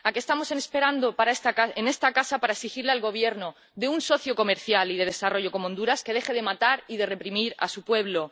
¿A qué estamos esperando en esta casa para exigirle al Gobierno de un socio comercial y de desarrollo como Honduras que deje de matar y de reprimir a su pueblo?